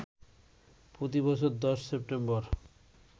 প্রতি বছর ১০ সেপ্টেম্বর